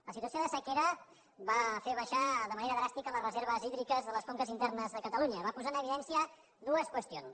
la situació de sequera va fer abaixar de manera dràstica les reserves hídriques de les conques internes de catalunya va posar en evidència dues qüestions